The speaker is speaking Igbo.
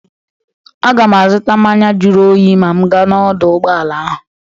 Agam azụta mmanya juru oyi ma m gaa n'ọdọ ụgbọala ahụ.